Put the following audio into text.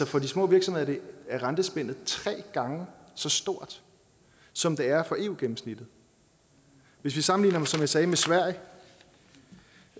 for de små virksomheder er rentespændet tre gange så stort som det er for eu gennemsnittet vi kan sammenligne som jeg sagde med sverige